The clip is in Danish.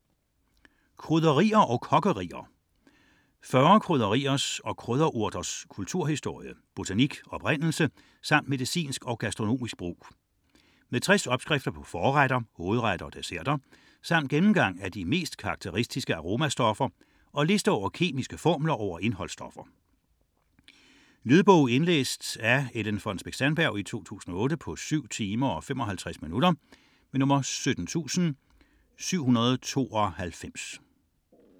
64.17 Krydderier & kokkerier 40 krydderiers og krydderurters kulturhistorie, botanik, oprindelse samt medicinsk og gastronomisk brug. Med 60 opskrifter på forretter, hovedretter og desserter samt gennemgang af de mest karakteristiske aromastoffer og liste over kemiske formler over indholdsstoffer. Lydbog 17792 Indlæst af Ellen Fonnesbech-Sandberg, 2008. Spilletid: 7 timer, 55 minutter.